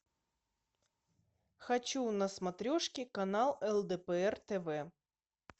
хочу на смотрешке канал лдпр тв